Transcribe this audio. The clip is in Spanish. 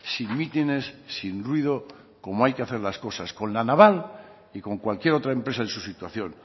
sin mítines sin ruido como hay que hacer las cosas con la naval y con cualquier otra empresa en su situación